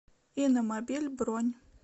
иномобиль бронь